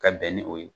Ka bɛn ni o ye